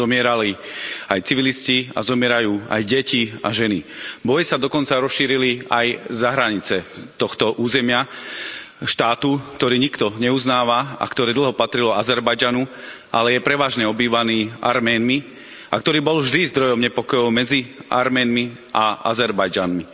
Zomierali aj civilisti a zomierajú aj deti a ženy. Boje sa dokonca rozšírili aj za hranice tohto územia štátu, ktorý nikto neuznáva a ktorý dlho patril Azerbajdžanu, ale je prevažne obývaný Arménmi, a ktorý bol vždy zdrojom nepokojov medzi Arménmi a Azerbajdžancami.